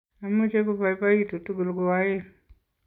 ameche kobaibaitu tugul ko oeng'